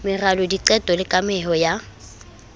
meralo diqeto le kameho ya